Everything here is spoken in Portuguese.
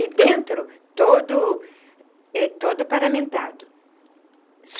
E dentro, todo todo paramentado.